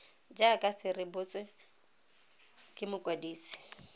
jaaka se rebotswe ke mokwadisi